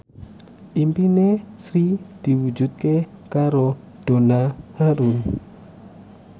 impine Sri diwujudke karo Donna Harun